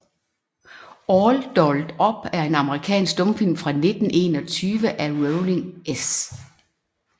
All Dolled Up er en amerikansk stumfilm fra 1921 af Rollin S